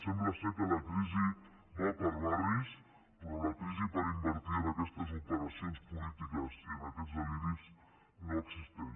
sembla que la crisi va per barris però la crisi per invertir en aquestes operacions polítiques i en aquests deliris no existeix